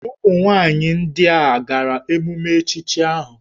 Ụmụnwaanyị ndị a hà gara emume echichi ahụ?